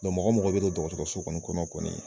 mɔgɔ mɔgɔ be don dɔgɔtɔrɔso kɔni kɔnɔ kɔni